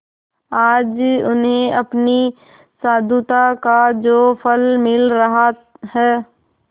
आज उन्हें अपनी साधुता का जो फल मिल रहा है